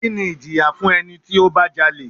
Kini ìjìyà fún ẹni tí ó bá jalè?